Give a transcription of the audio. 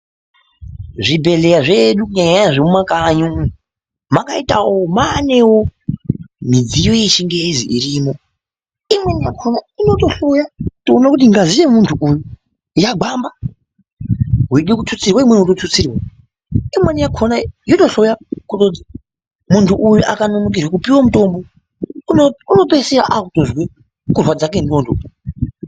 Zvibhedhlera zvedu kunyanya-nyanya zvemumakanyi umu, makaitawo maanewo mudziyo yechingezi irimo. Imweni yakhona inotohloya kuti kuona kuti ngazi yemuntu uyu yagwamba, wede kuthutsirwe imweni wotothutsirwa. Imweni yakhona yotohloya , kuone kuti munhu uyu akanonokerwe kupiwe mitombo uno unotoisiya akuzwe kurwadza kendxondo.